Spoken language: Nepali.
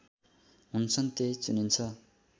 हुन्छन् त्यही चुनिन्छ